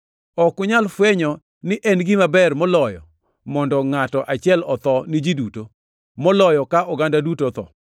Ok unyal fwenyo ni en gima ber moloyo mondo ngʼato achiel otho ni ji duto, moloyo ka oganda duto otho.”